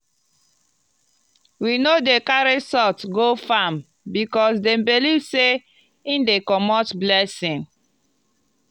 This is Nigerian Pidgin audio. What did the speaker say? we no dey carry salt go farm because dem believe sey e dey comot blessing.